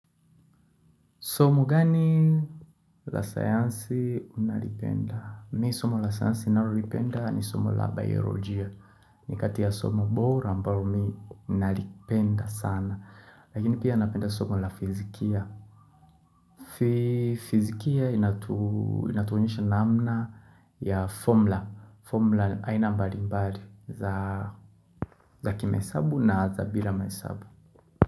Somo gani la sayansi unalipenda? Mi somo la sainsi ninalipenda ni somu la biolojia. Ni kati somu bora ambao mi nalipenda sana. Lakini pia napenda somu la fisikia. Fisikia inatuonesha namna ya formula. Formula haina mbali mbali za kimahesabu na za bila mahesabu.